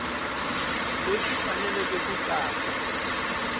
leswi swi fanele ku katsa